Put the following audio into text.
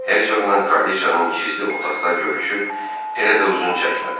Hersoqla kraliçanın gizli otaqda görüşü elə də uzun çəkmədi.